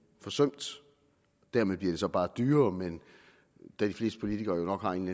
forsømt dermed bliver det så bare dyrere men da de fleste politikere jo nok har en